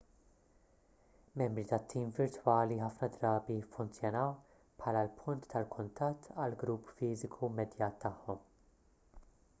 membri tat-tim virtwali ħafna drabi jiffunzjonaw bħala l-punt tal-kuntatt għall-grupp fiżiku immedjat tagħhom